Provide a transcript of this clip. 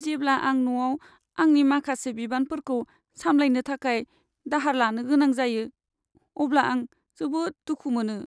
जेब्ला आं न'आव आंनि माखासे बिबानफोरखौ सामलायनो थाखाय दाहार लानो गोनां जायो, अब्ला आं जोबोद दुखु मोनो।